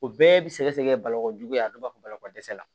O bɛɛ bi sɛgɛsɛgɛ balako juguya a bɛɛ b'a fɔ bakɔ dɛsɛ la